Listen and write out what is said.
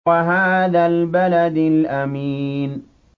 وَهَٰذَا الْبَلَدِ الْأَمِينِ